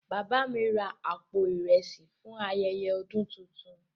Baba mi ra àpò ìrẹsì fún ayẹyẹ ọdún tuntun.